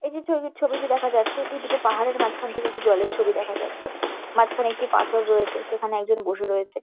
এই যে ছবি ছবিটি দেখা যাচ্ছে এটি দুটো পাহাড়ের মাঝখান থেকে একটি জলের ছবি দেখা যাচ্ছে। মাঝখানে একটি পাথর রয়েছে। সেখানে একজন বসে রয়েছে।